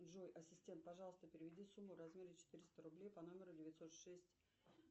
джой ассистент пожалуйста переведи сумму в размере четыреста рублей по номеру девятьсот шесть